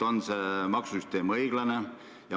On see maksusüsteem õiglane?